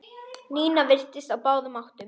Nína virtist á báðum áttum.